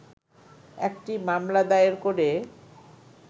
একটি মামলা দায়ের করে